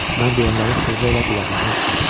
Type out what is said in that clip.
Mən deyənləri sığa elə qulağından as.